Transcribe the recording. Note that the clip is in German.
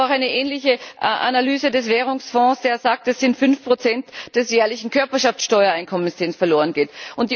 Es gibt aber auch eine ähnliche Analyse des Währungsfonds, der sagt, es sind fünf Prozent des jährlichen Körperschaftsteuereinkommens, die uns verlorengehen.